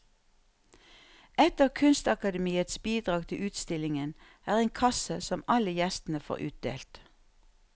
Et av kunstakademiets bidrag til utstillingen er en kasse som alle gjestene får utdelt.